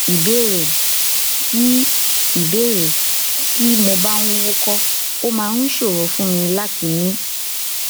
ìbéèrè tí ìbéèrè tí mo bá ń wúkọ ó máa ń ṣòro fún mi láti mi